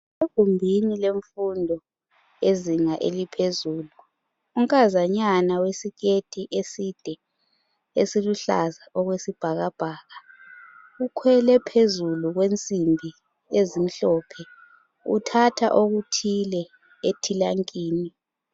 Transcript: Egumbini lemfundo ezinga eliphezulu unkazanyana wesiketi eside esiluhlaza ekwesibhakabhaka. Ukhwele phezulu kwensimbi ezimhlophe uthatha okuthile etilankini.